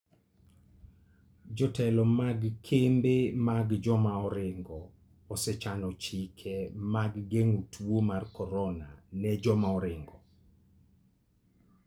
Jotelo mag kembe mag joma oringo osechano chike mag geng'o tuo mar korona ne joma oringo.